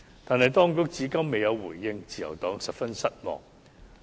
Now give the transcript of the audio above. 但是，當局至今未有回應，自由黨十分失望。